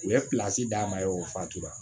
U ye d'a ma ye o fatu wa